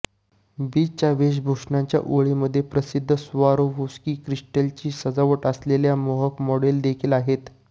बीचच्या वेषभूषांच्या ओळमध्ये प्रसिद्ध स्वारोवोस्की क्रिस्टल्सची सजावट असलेल्या मोहक मॉडेल देखील आहेत